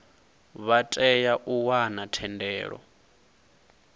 vha tea u wana thendelo